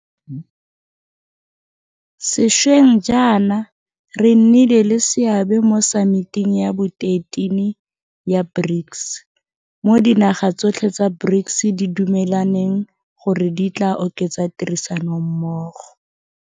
Sešweng jaana re nnile le seabe mo Samiting ya bo 13 ya BRICS, mo dinaga tsotlhe tsa BRICS di dumelaneng gore di tla oketsa tirisanommogo.